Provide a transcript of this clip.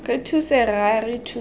re thuse rra re thuse